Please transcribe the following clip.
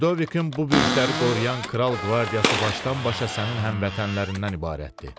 Lidovikin bu bürcləri qoruyan kral qvardiyası başdan-başa sənin həmvətənlərindən ibarətdir.